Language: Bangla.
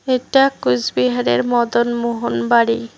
এটা কুচবিহারের মদনমোহন বাড়ি।